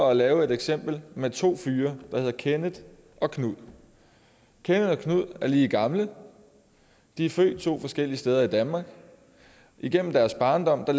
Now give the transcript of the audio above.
at lave et eksempel med to fyre der hedder kenneth og knud kenneth og knud er lige gamle de er født to forskellige steder i danmark igennem deres barndom har